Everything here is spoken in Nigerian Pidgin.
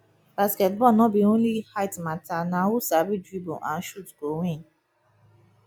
basketball no be only height matter na who sabi dribble and shoot go win